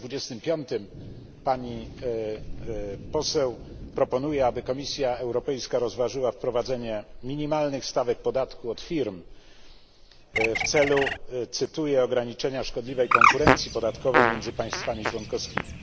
25 pani poseł proponuje, aby Komisja Europejska rozważyła wprowadzenie minimalnych stawek podatku od firm w celu cytuję ograniczenia szkodliwej konkurencji podatkowej między państwami członkowskimi.